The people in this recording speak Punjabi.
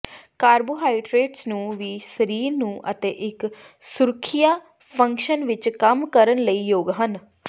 ਕਾਰਬੋਹਾਈਡਰੇਟਸ ਨੂੰ ਵੀ ਸਰੀਰ ਨੂੰ ਅਤੇ ਇੱਕ ਸੁਰੱਖਿਆ ਫੰਕਸ਼ਨ ਵਿੱਚ ਕੰਮ ਕਰਨ ਲਈ ਯੋਗ ਹਨ